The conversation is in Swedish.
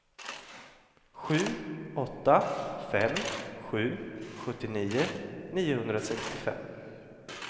sju åtta fem sju sjuttionio niohundrasextiofem